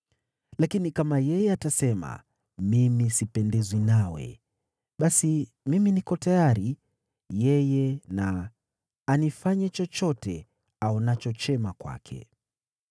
Lakini kama yeye atasema, ‘Mimi sipendezwi nawe,’ basi mimi niko tayari; yeye na anifanye chochote aonacho chema kwake.”